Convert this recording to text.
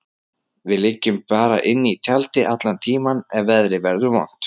Við liggjum bara inni í tjaldi allan tímann ef veðrið verður vont.